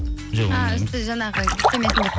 үсті жаңағы биттемесін деп